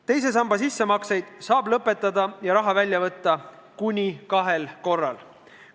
Teise sambasse sissemaksete tegemise saab lõpetada ja raha välja võtta kuni kahel korral.